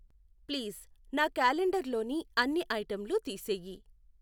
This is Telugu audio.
ప్లీజ్ నా క్యాలెండర్లోని అన్ని ఐటెంలు తీసెయ్యి.